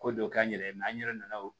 Ko dɔ k'an yɛrɛ ye an yɛrɛ nana o